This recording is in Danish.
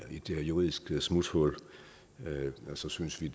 et juridisk smuthul så synes vi